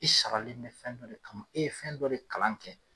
I saralen bɛ fɛn dɔ de kama, e ye fɛn dɔ de kalan kɛ.